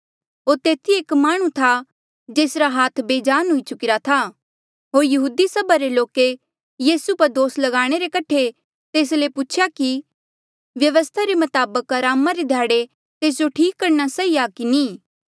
होर तेथी एक माह्णुं था जेसरा हाथ बेजान हुई चुकिरा था होर यहूदी सभा रे लोके यीसू पर दोस ल्गाणे रे कठे तेस ले पूछेया कि व्यवस्था रे मताबक अरामा रे ध्याड़े तेस जो ठीक करणा सही आ की नी